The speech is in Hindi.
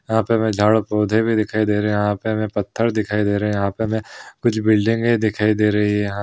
यहाँ पे हमें झाड़ पोधे भी दिखाई दे रहें यहाँ पे हमें पत्थर दिखाई दे रहें यहाँ पे हमें कुछ बिल्डिंगे दिखाई दे रही हैं या --